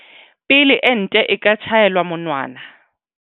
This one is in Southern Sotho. Pele ente e ka tjhaelwa monwana.